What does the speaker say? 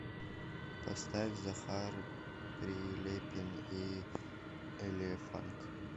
поставь захар прилепин и элефанк